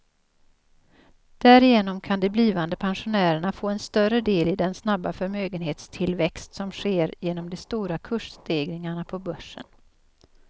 Därigenom kan de blivande pensionärerna få en större del i den snabba förmögenhetstillväxt som sker genom de stora kursstegringarna på börsen.